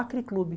Acre Clube.